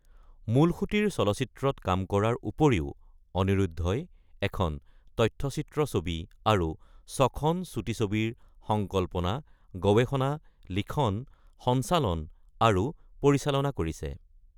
মূলসূঁতিৰ চলচ্চিত্ৰত কাম কৰাৰ উপৰিও অনিৰুদ্ধই এখন তথ্যচিত্ৰ ছবি আৰু ছখন চুটি ছবিৰ সংকল্পনা, গৱেষণা, লিখন, সঞ্চালন আৰু পৰিচালনা কৰিছে।